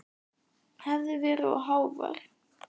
Hef verið of hávær.